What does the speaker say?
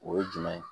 O ye jumɛn ye